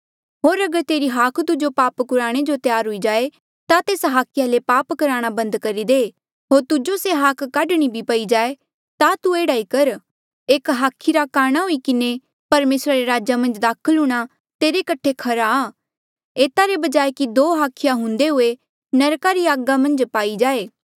होर अगर तेरी हाख तुजो पाप कुराणे जो त्यार हुई जाए ता तेस हाखिया ले पाप करणा बंद करी दे होर तुजो से हाख काढणी भी पई जाए ता तू एह्ड़ा ई कर एक हाखी रा काणा हुई किन्हें परमेसरा रे राजा मन्झ दाखल हूंणां तेरे कठे खरा आ एता रे बजाय कि दो हाखिया हुंदे हुए नरका री आगा मन्झ पाई जाए